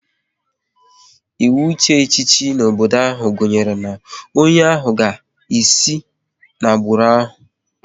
Ịwụ ịchị echichi n'obodo ahụ gunyere na onye ahụ agaghị esi n'agbụrụ ohu